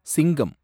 சிங்கம்